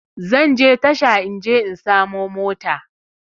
Zanje tasha in je in samo mota